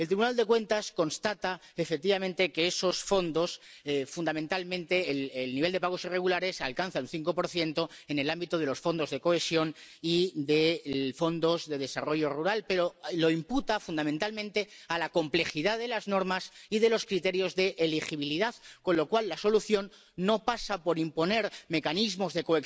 El Tribunal de Cuentas constata, efectivamente, que, de esos fondos, fundamentalmente el nivel de pagos irregulares alcanza un 5 en el ámbito de los fondos de cohesión y de los fondos de desarrollo rural, pero lo imputa fundamentalmente a la complejidad de las normas y de los criterios de elegibilidad, con lo cual la solución no pasa por imponer mecanismos de